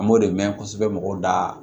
An b'o de mɛn kosɛbɛ mɔgɔw da